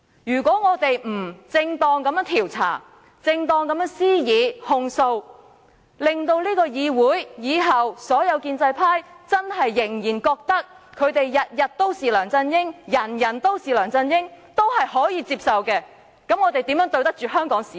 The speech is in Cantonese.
如果我們不正當地調查，正當地施以控訴，而是認為本議會往後所有建制派議員繼續覺得他們"天天都是梁振英，人人都是梁振英"仍可接受，我們還怎對得起香港市民？